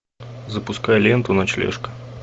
запускай ленту ночлежка